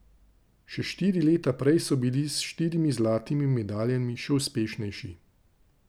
Še štiri leta prej so bili s štirimi zlatimi medaljami še uspešnejši.